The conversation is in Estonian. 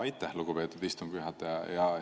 Aitäh, lugupeetud istungi juhataja!